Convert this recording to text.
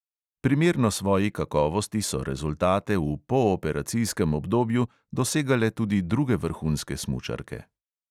Primerno svoji kakovosti so rezultate v pooperacijskem obdobju dosegale tudi druge vrhunske smučarke.